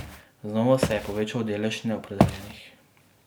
Znova se je povečal delež neopredeljenih.